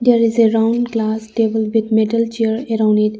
There is a round glass table with metal chair around it.